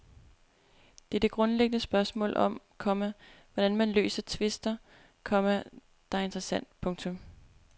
Det er det grundlæggende spørgsmål om, komma hvordan man løser tvister, komma der er interessant. punktum